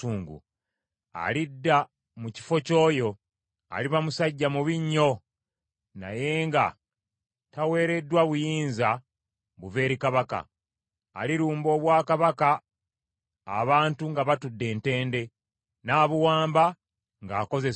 “Alidda mu kifo ky’oyo, aliba musajja mubi nnyo naye nga taweereddwa buyinza buva eri kabaka. Alirumba obwakabaka abantu nga batudde ntende, n’abuwamba ng’akozesa enkwe.